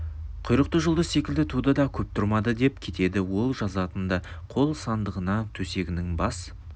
құйрықты жұлдыз секілді туды да көп тұрмады деп кетеді ол жазатын да қол сандығына төсегінің бас